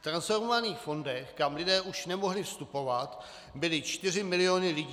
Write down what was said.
V transformovaných fondech, kam lidé už nemohli vstupovat, byly čtyři miliony lidí.